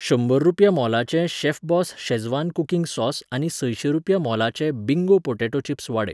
शंबर रुपया मोलाचें शॅफबॉस शेझवान कुकिंग सॉस आनी संयशें रुपया मोलाचें बिंगो पॉटॅटो चिप्स वाडय.